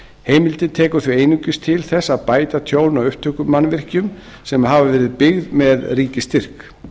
heimildin tekur því einungis til þess að bæta tjón á upptökumannvirkjum sem hafa verið byggð með ríkisstyrk